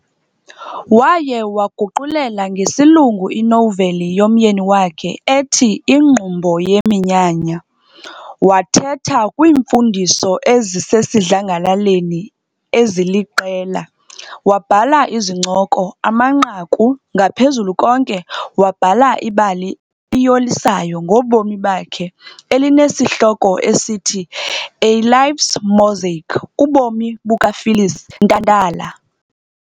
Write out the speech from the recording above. Waye waguqulela ngesilungu inoveli yomyeni wakhe ethi Ingqumbo Yeminyanya, wathetha kwiimfundiso ezisesidlangalaleni eziliqela, wabhala izincoko, amanqaku ngaphezu konke wabhala ibali iyolisayo ngobomi bakhe elineshihloko esithi - "A Life's Mosaic - ubomi buka Phyllis Ntantala.